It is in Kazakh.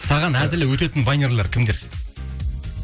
саған әзілі өтетін вайнерлер кімдер